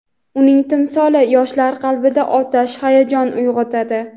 uning timsoli yoshlar qalbida otash hayajon uyg‘otadi.